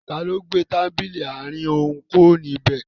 Taló gbé tábìlì àárín òún kúrò níbẹ̀?